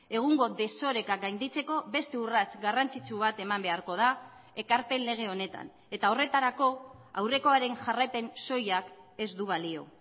egungo desoreka gainditzeko beste urrats garrantzitsu bat eman beharko da ekarpen lege honetan eta horretarako aurrekoaren jarraipen soilak ez du balio